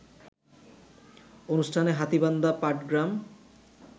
অনুষ্ঠানে হাতীবান্ধা-পাটগ্রাম